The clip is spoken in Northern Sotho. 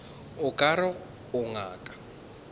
o ka re o ngaka